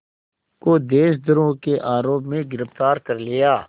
को देशद्रोह के आरोप में गिरफ़्तार कर लिया